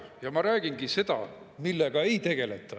Jah, ma räägingi seda, millega ei tegeleta.